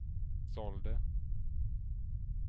sålde